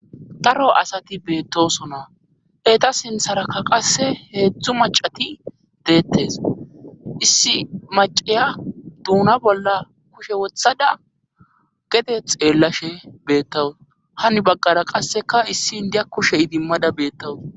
Daro asati beettosona heta sintharakka qasse heedzdzu macati deettes issi maceya duuna bolla kushe wothada getet xeellashe beettawus hani bagqara qasseka issi indiya kushe idimmada beettawus.